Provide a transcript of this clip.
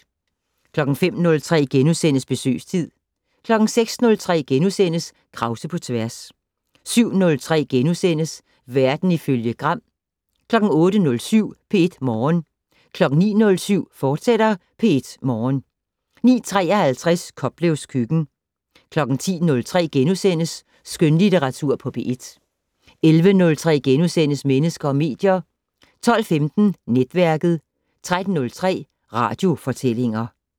05:03: Besøgstid * 06:03: Krause på tværs * 07:03: Verden ifølge Gram * 08:07: P1 Morgen 09:07: P1 Morgen, fortsat 09:53: Koplevs køkken 10:03: Skønlitteratur på P1 * 11:03: Mennesker og medier * 12:15: Netværket 13:03: Radiofortællinger